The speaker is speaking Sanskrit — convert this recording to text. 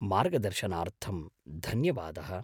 मार्गदर्शनार्थं धन्यवादः।